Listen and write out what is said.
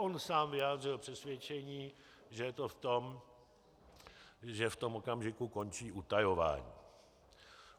On sám vyjádřil přesvědčení, že je to v tom, že v tom okamžiku končí utajování.